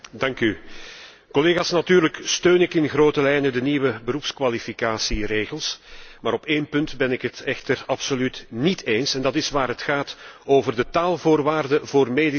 Collega's, natuurlijk steun ik in grote lijnen de nieuwe beroepskwalificatieregels, maar op één punt ben ik het echter absoluut níet eens met het voorstel, en dat is waar het gaat over de taalvoorwaarden voor medisch personeel.